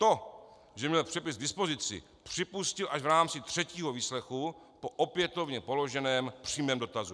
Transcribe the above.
To, že měl přepis k dispozici, připustil až v rámci třetího výslechu po opětovně položeném přímém dotazu.